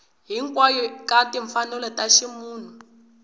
hinkwayo ka timfanelo ta ximunhu